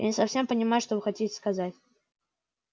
я не совсем понимаю что вы хотите сказать